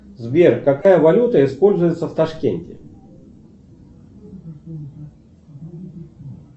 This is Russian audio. сбер какая валюта используется в ташкенте